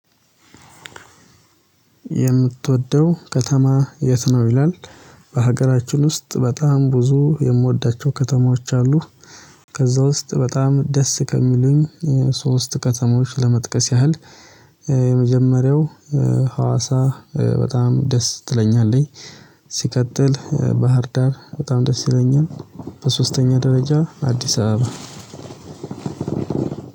የምትወደው ከተማ የት ነው? ይላል በሀገራችን ውስጥ በጣም ብዙ የምወዳቸው ከተማዎች አሉ። ከዛ ውስጥ በጣም ደስ ከሚሉኝ ሶስት ከተሞች ለመጥቀስ ያህል። የመጀመሪያው ሀዋሳ በጣም ደስ ትለኛለች። ሲቀጥል ባህር ዳር በጣም ደስ ይለኛል። በሶስተኛ ደረጃ አዲስ አበባ